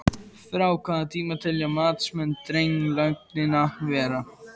Frá hvaða tíma telja matsmenn drenlögnina vera?